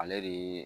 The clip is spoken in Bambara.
Ale de ye